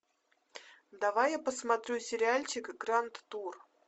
давай я посмотрю сериальчик гранд тур